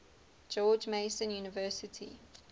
george mason university